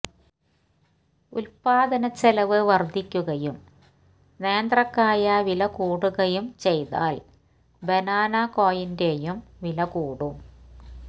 ഉല്പാദനച്ചെലവ് വര്ധിക്കുകയും നേന്ത്രക്കായ് വില കൂടുകയും ചെയ്താല് ബനാനകോയിന്റെയും വില കൂടും